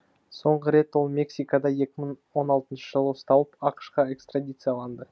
соңғы рет ол мексикада екі мың он алтыншы жылы ұсталып ақш қа экстрадицияланды